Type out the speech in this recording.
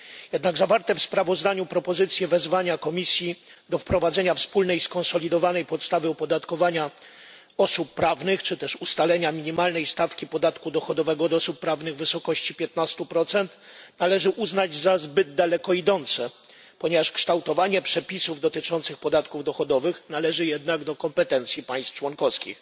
Jednak zawarte w sprawozdaniu propozycje wezwania Komisji do wprowadzenia wspólnej skonsolidowanej podstawy opodatkowania osób prawnych, czy też ustalenia minimalnej stawki podatku dochodowego od osób prawnych w wysokości 15 należy uznać za zbyt daleko idące, ponieważ kształtowanie przepisów dotyczących podatków dochodowych należy jednak do kompetencji państw członkowskich.